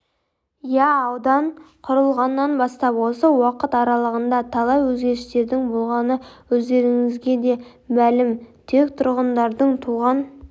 иә аудан құрылғаннан бастап осы уақыт аралығында талай өзгерістердің болғаны өздеріңізге де мәлім тек тұрғындардың туған